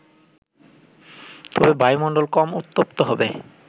তবে বায়ুমণ্ডল কম উত্তপ্ত হবে